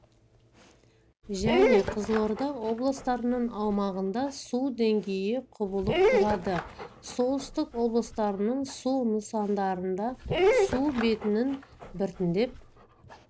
және қызылорда облыстарының аумағында су деңгейі құбылып тұрады солтүстік облыстардың су нысандарында су бетінің біртендеп